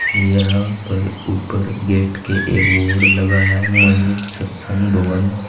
यहां पर ऊपर गेट के एक बोर्ड लगा है महेश सत्संग भवन।